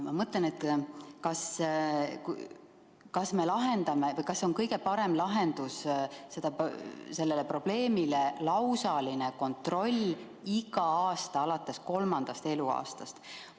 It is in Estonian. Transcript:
Ma mõtlen, kas see ikka on kõige parem lahendus sellele probleemile – lausaline kontroll iga aasta alates kolmandast eluaastast.